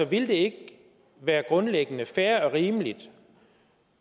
ville det ikke være grundlæggende fair og rimeligt